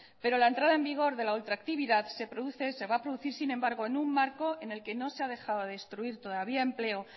pero la entrada en vigor de la ultra actividad se produce se va a producir sin embargo en un marco en el que no se ha dejado de destruir todavía empleo